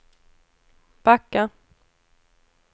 backa